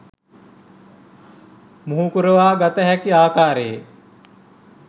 මුහුකුරවා ගත හැකි ආකාරයේ